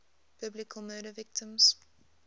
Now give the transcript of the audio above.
biblical murder victims